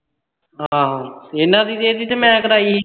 ਹਾਂ ਇਹਨਾਂ ਦੀ ਵੀ ਤੇ ਮੈਂ ਹੀ ਕਰਾਈ ਸੀ